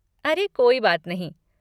अरे, कोई बात नहीं।